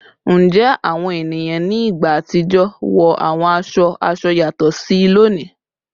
Njẹ awọn eniyan ni igba atijọ wo awọn awọ aṣọ aṣọ yatọ si loni?